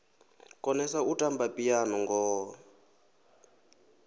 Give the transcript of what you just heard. konesa u tamba phiano ngoho